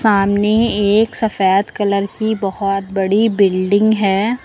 सामने एक सफेद कलर की बहोत बड़ी बिल्डिंग है।